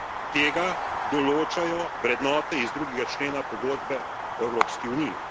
Tega določajo vrednote iz drugega člena Pogodbe o Evropski uniji.